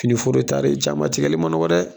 Finiforo tari jama tigɛli man nɔgɔ dɛ!